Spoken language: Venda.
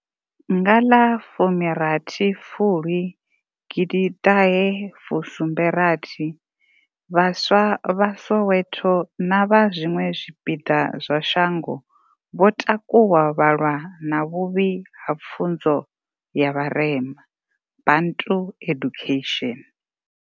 Nga ḽafumirathi fulwi gidiṱahe fusumbe rathi, vhaswa vha soweto na vha zwiṅwe zwi piḓa zwa sha ngo vho takuwa vha lwa na vhuvhi ha pfunzo ya vharema bantu education.